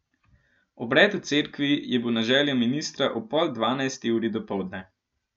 Obred v cerkvi je bil na željo ministra ob pol dvanajsti uri dopoldne.